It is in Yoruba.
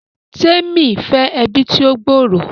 Temi fẹ ẹbi tí o gb'ọrọ